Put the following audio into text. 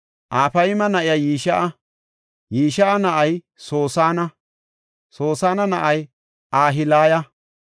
Afayma na7ay Yishi7a; Yishi7a na7ay Soosana; Soosana na7ay Ahilaya.